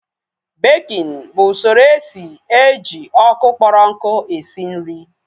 Békin bụ usoro esi eji ọkụ kpọrọ nku esi nri